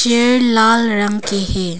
ये लाल रंग के है।